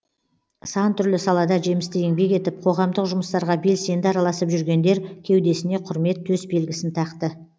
сан түрлі салада жемісті еңбек етіп қоғамдық жұмыстарға белсенді араласып жүргендер кеудесіне құрмет төсбелгісін тақты